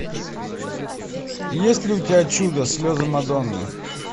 есть ли у тебя чудо слезы мадонны